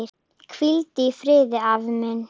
Hvíldu í friði, afi minn.